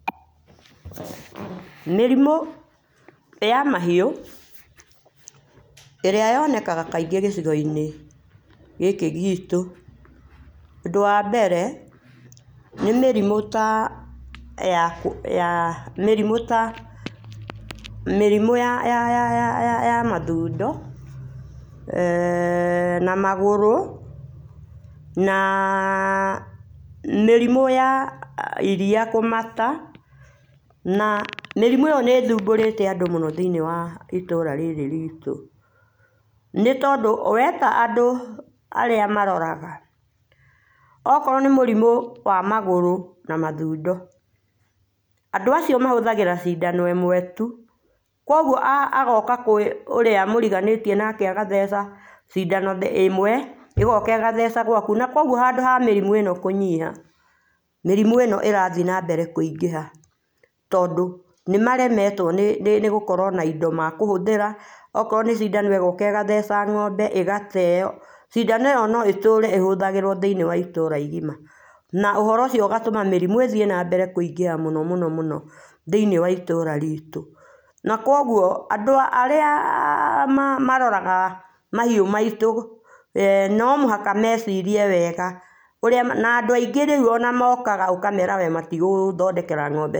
Mĩrimũ ya mahiũ ĩrĩa yonekaga kaingĩ gĩcigoinĩ gĩkĩ gitũ, ũndũ wa mbere, ni mĩrimũ ta ya [uuh], mĩrimũ ta ya mathũndo Mmh na magũrũ, na mirimu ya iriia kumata. Na mĩrimũ ĩyo nĩ ĩthumbũrĩte andũ mũno thĩ-inĩ wa itũra rĩrĩ ritũ, nĩtondũ weta andũ arĩa maroraga, okorwo ni mũrimũ wa magũrũ na mathundo, andũ acio mahũthagĩra cindano ĩmwe tu. kwoguo agooka kwĩ ũrĩa mũriganĩtie nake agatheca cindano ĩmwe, ĩgoka ĩgatheca gwaku. Na kwguo handu ha mĩrimũ ĩno kũnyiha, mĩrimũ ĩno ĩrathiĩ nambere kũingĩha. Tondũ nĩmaremetwo nĩ gũkorwo na indo mekũhũthĩra okorwo ni cindano igoka igatheca ngo’mbe igateo. Cindano ĩyo no ĩtũre ĩhũthagĩrwo thĩiniĩ wa itũra igima. Na ũhoro ũcio ũgatũma mĩrimũ ĩthie nambere kũingĩha mũno mũno thĩ-inĩ wa itũra ritũ. Na kwoguo andũ arĩa maroraga mahiũ maitũ no mũhaka mecirie wega ũrĩa, na andũ aingĩ rĩũ mokaga ũkamera we matigũgũthondekera ngo’mbe.